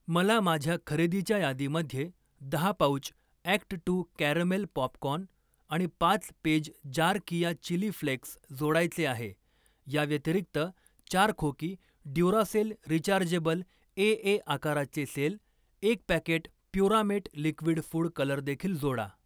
मला माझ्या खरेदीच्या यादीमध्ये दहा pouch act two caramel popcorn आणि पाच पेज जार कीया चिली फ्लेक्स जोडायचे आहे. याव्यतिरिक्त, चार खोकी ड्युरासेल रिचार्जेबल एए आकाराचे सेल, एक packet Puramate liquid food colour देखील जोडा.